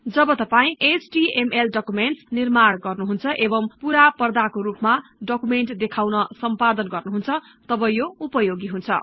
जब तपाई HTML documents निर्माण गर्नुहुन्छ एवं पूरा पर्दाको रुपमा डकुमेन्ट देखाउन सम्पादन गर्नुहुन्छ तब यो उपयोगी हुन्छ